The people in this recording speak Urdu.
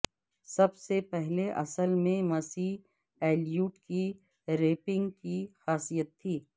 سب سے پہلے اصل میں مسئی ایلیوٹ کی رپنگ کی خاصیت تھی